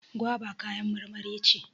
goba kayan marmari ce